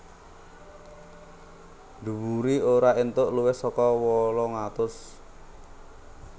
Dhuwuré ora entuk luwih saka wolung atus